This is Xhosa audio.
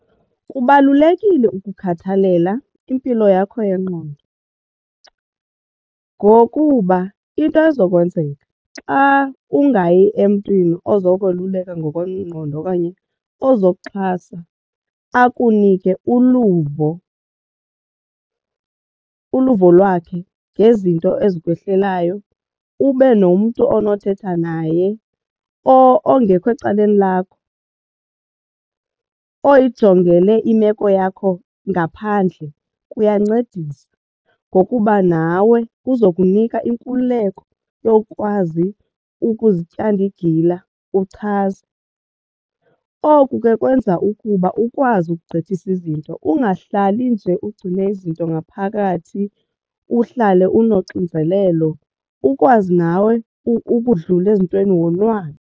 Kubalulekile ukukhathalela impilo yakho yengqondo ngokuba into ezokwenzeka xa ungayi emntwini ozokweluka ngokwengqondo okanye ozokuxhasa xa akunike uluvo uluvo lwakhe ngezinto ezikwehlelayo ube nomntu onothetha naye ongekho ecaleni lakho oyijongele imeko yakho ngaphandle. Kuyancedisa ngokuba nawe kuzokunika inkululeko yokwazi ukuzityanda igila uchaze. Oku kwenza ukuba ukwazi ukugqithisa izinto ungahlalli nje ugcine izinto ngaphakathi uhlale unoxinzelelo ukwazi nawe ukudlula ezintweni wonwabe.